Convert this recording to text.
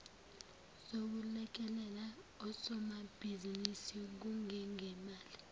zokulekelela osomabhizinisi kungengemali